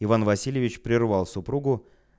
иван васильевич прервал супругу